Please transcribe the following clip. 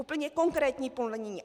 Úplně konkrétní plnění.